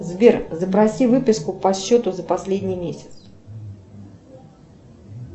сбер запроси выписку по счету за последний месяц